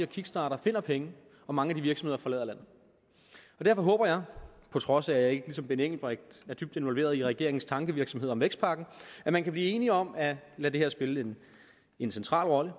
kickstarter finder penge og mange af de virksomheder forlader landet derfor håber jeg på trods af at jeg ikke ligesom herre benny engelbrecht er dybt involveret i regeringens tankevirksomhed om vækstpakken at man kan blive enige om at lade det her spille en central rolle